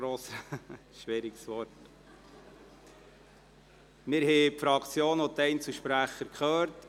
Wir haben die Fraktions- und Einzelsprecher gehört.